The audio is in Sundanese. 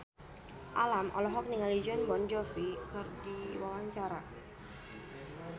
Alam olohok ningali Jon Bon Jovi keur diwawancara